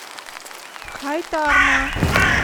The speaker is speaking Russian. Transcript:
хайтарма